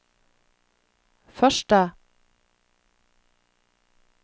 første